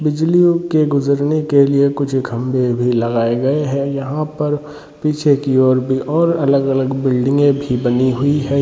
बिजलियों के गुजरने के लिए कुछ खंबे भी लगाये गए है यहाँ पर पीछे की और भी और अलग - अलग बिल्डिंगे भी बनी हुई है।